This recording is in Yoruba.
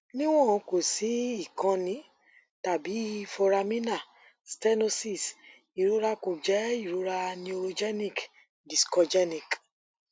niwon ko si ikanni tabi foraminal stenosis irora ko jẹ irora neurogenic discogenic